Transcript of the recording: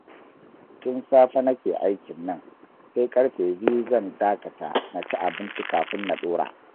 Tun safe nake aikin nan, sai ƙarfe biyu zan dakata na ci abinci kafin na ɗora